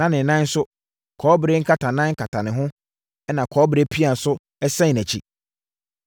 Na ne nan nso, kɔbere nkatanan kata ho ɛna kɔbere pea nso sɛn nʼakyi.